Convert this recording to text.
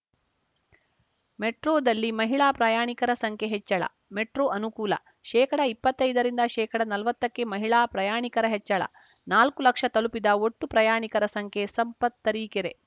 ಮೆಟ್ರೋದಲ್ಲಿ ಮಹಿಳಾ ಪ್ರಯಾಣಿಕರ ಸಂಖ್ಯೆ ಹೆಚ್ಚಳ ಮೆಟ್ರೋ ಅನುಕೂಲ ಶೇಕಡಾ ಇಪ್ಪತ್ತೈದರಿಂದ ಶೇಕಡಾ ನಲ್ವತ್ತಕ್ಕೆ ಮಹಿಳಾ ಪ್ರಯಾಣಿಕರ ಹೆಚ್ಚಳ ನಾಲ್ಕು ಲಕ್ಷ ತಲುಪಿದ ಒಟ್ಟು ಪ್ರಯಾಣಿಕರ ಸಂಖ್ಯೆ ಸಂಪತ್‌ ತರೀಕೆರೆ